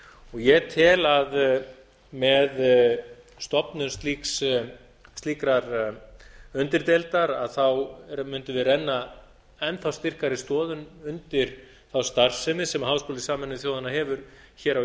ég tel að með stofnun slíkrar undirdeildar mundum við renna enn þá styrkari stoðum undir starfsemi sem háskóli sameinuðu þjóðanna hefur hér á